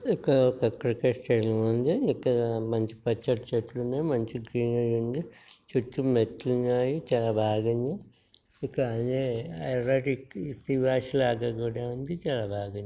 ఇక్కడ ఒక cricket stadium వుంది ఇక్కడ మంచి పచ్చటి చెట్లు వున్నాయి. మంచి గ్రీనరీ వుంది. చుట్టు మెట్లు వున్నాయి చాలా బాగుంది. ఇక ఎర్రటి సుబాష్ లాగా కూడా వుంది. చాలా బాగుంది.